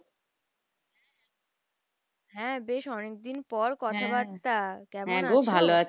হ্যাঁ বেশ অনেক দিন পর কথাবার্তা কেমন আছো?